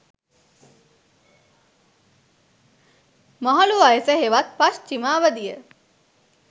මහලු වයස හෙවත් පශ්චිම අවධිය